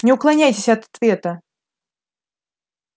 не уклоняйтесь от ответа